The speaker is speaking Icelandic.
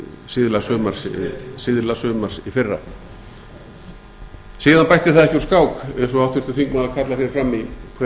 síðla sumars í fyrra síðan bætti það ekki úr skák eins og háttvirtur þingmaður kallar hér fram í hver